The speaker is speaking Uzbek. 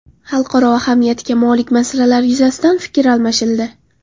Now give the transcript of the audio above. Xalqaro ahamiyatga molik masalalar yuzasidan fikr almashildi.